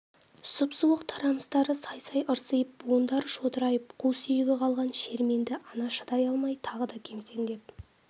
сұп-суық тарамыстары сай-сай ырсиып буындары шодырайып қу сүйегі қалған шерменді ана шыдай алмай тағы да кемсеңдеп